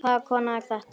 Hvaða kona er þetta?